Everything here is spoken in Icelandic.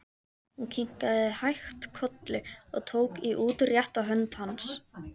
Hún kinkaði hægt kolli og tók í útrétta hönd hans.